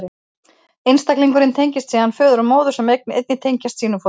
Einstaklingurinn tengist síðan föður og móður, sem einnig tengjast sínum foreldrum.